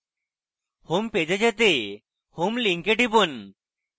home page এ যেতে home link টিপুন